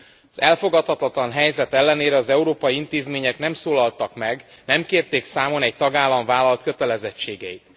Az elfogadhatatlan helyzet ellenére az európai intézmények nem szólaltak meg, nem kérték számon egy tagállam vállalt kötelezettségeit.